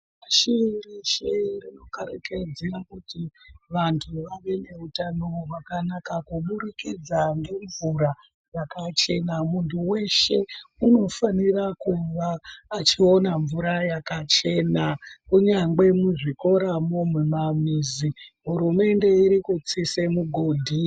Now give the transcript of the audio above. Pashi reshe rinokarakadza kuti vantu vave neutano hwakanaka kuburikidza ngemvura yakachena munhu weshe unofanira kuva achiona mvura yakachena kunyange muzvikoramwo mumamizi hurumende irikutsise migodhi yemvura.